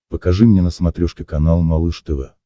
покажи мне на смотрешке канал малыш тв